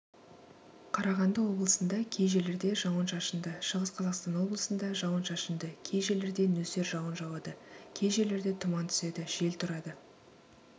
қарағанды облысында кей жерлерде жауын-шашынды шығыс қазақстан облысында жауын-шашынды кей жерлерде нөсер жауын жауады кей жерлерде тұман түседі жел тұрады